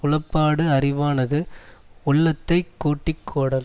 உளப்பாடு அறிவானது உள்ளத்தை கூட்டி கோடல்